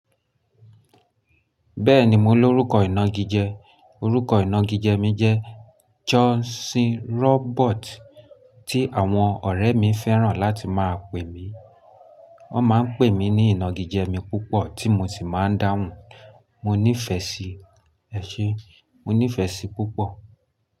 Bẹ́ẹ̀ni, mo l'órúkọ ìnagijẹ, orúkọ ìnagijẹ mi jẹ́ Johnson Robert tí àwọn ọ̀rẹ́ mi fẹ́ràn láti máa pè mí. Wọ́n máa ń pè mí ní ìnagijẹ mi púpọ̀ tí mo sì máa ń dáhùn, mo nífẹ̀ẹ́ sí, ẹ ṣé, mo nífẹ̀ẹ́ sí púpọ̀.